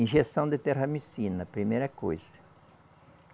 Injeção de terramicina, primeira coisa.